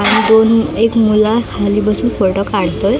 आणि दोन एक मुला खाली बसून फोटो काढतोय.